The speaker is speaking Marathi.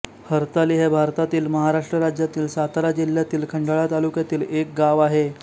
हर्ताली हे भारतातील महाराष्ट्र राज्यातील सातारा जिल्ह्यातील खंडाळा तालुक्यातील एक गाव आहे